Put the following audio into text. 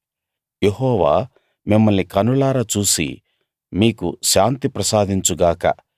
యెహోవా మిమ్మల్ని కన్నులారా చూసి మీకు శాంతి ప్రసాదించు గాక